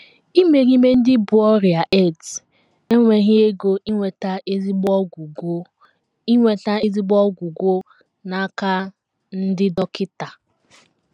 Imerime ndị bú ọrịa AIDS enweghị ego inweta ezigbo ọgwụgwọ inweta ezigbo ọgwụgwọ n’aka ndị dọkịta.